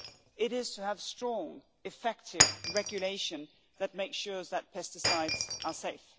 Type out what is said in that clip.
it is to have strong, effective regulation that makes sure that pesticides are safe.